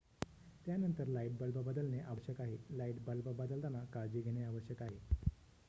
त्यानंतर light bulb बदलणे आवश्यक आहे लाइट बल्ब बदलताना काळजी घेणे आवश्यक आहे